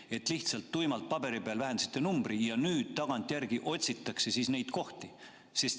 Kas te lihtsalt tuimalt paberi peal vähendasite numbrit ja nüüd tagantjärgi otsite neid kohti?